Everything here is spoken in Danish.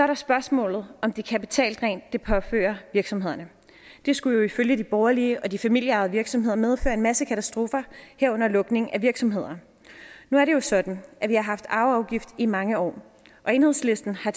der spørgsmålet om det kapitaldræn det påfører virksomhederne det skulle jo ifølge de borgerlige og de familieejede virksomheder medføre en masse katastrofer herunder lukning af virksomheder nu er det jo sådan at vi har haft arveafgift i mange år og enhedslisten har